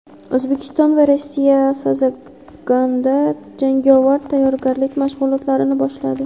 O‘zbekiston va Rossiya "Sazagan"da jangovar tayyorgarlik mashg‘ulotlarini boshladi.